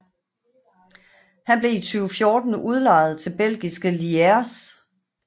Han blev i 2014 udlejet til belgiske Lierse